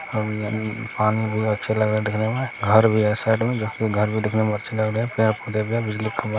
पानी भी अच्छा लग रहा- देखने में घर भी है साइड मे जब कि घर भी देखने मे अच्छा लग रहा है। पेड़ को देखलों बिजली का खंभा--